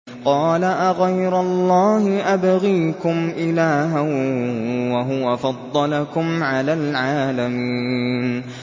قَالَ أَغَيْرَ اللَّهِ أَبْغِيكُمْ إِلَٰهًا وَهُوَ فَضَّلَكُمْ عَلَى الْعَالَمِينَ